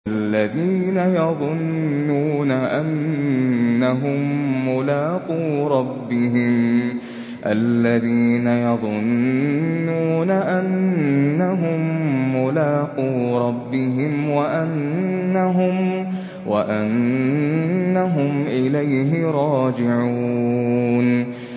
الَّذِينَ يَظُنُّونَ أَنَّهُم مُّلَاقُو رَبِّهِمْ وَأَنَّهُمْ إِلَيْهِ رَاجِعُونَ